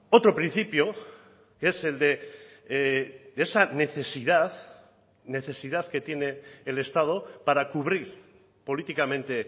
otro principio que es el de esa necesidad esa necesidad que tiene el estado para cubrir políticamente